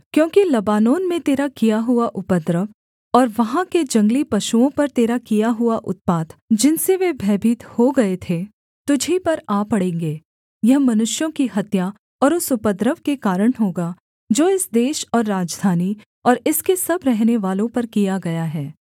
क्योंकि लबानोन में तेरा किया हुआ उपद्रव और वहाँ के जंगली पशुओं पर तेरा किया हुआ उत्पात जिनसे वे भयभीत हो गए थे तुझी पर आ पड़ेंगे यह मनुष्यों की हत्या और उस उपद्रव के कारण होगा जो इस देश और राजधानी और इसके सब रहनेवालों पर किया गया है